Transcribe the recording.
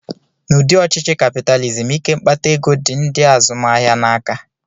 N'ụdị ọchịchị kapịtalizim, ike mkpata ego dị ndị azụmahịa n'aka